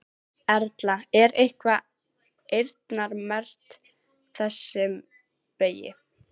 Erla: Er eitthvað eyrnamerkt þessum vegi?